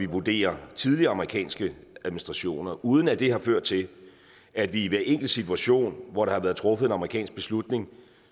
vurderer tidligere amerikanske administrationer uden at det har ført til at vi i hver enkelt situation hvor der har været truffet en amerikansk beslutning